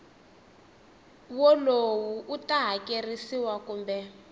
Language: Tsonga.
wolowo u ta hakerisiwa kumbe